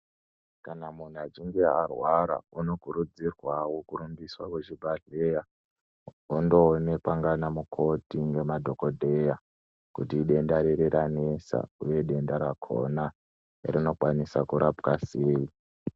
Kana munhu achinge arwara unokurudzirwawo kurumbiswa kuzvibhadhleya wondoonekwa ngaanamukoti ngemadhokodheya kuti idenda riri ranesa uye denda rakona rinokwanisa kurapwa sei.